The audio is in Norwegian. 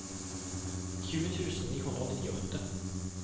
tjue tusen ni hundre og nittiåtte